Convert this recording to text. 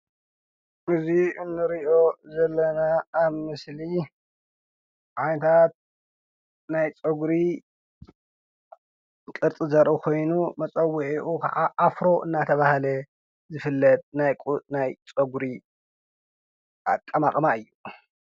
እዚ እንሪኦ ዘለና ኣብ ምስሊ ዓጋር ናይ ፀጉሪ ቅርፂ ዘርኢ ኮይኑ መፀዉዒኡ ክዓ ኣፍሮ እናተብሃለ ዝፍለጥ ናይ ፀጉሪ ኣቀማቅማ እዩ።